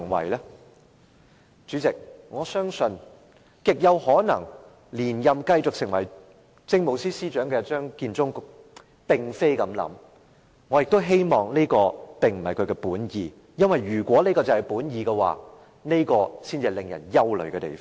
代理主席，我相信極有可能連任成為下一屆政務司司長的張建宗並不是這樣想，我也希望這並不是他的本意，因為如果這是他的本意，才是令人憂慮的地方。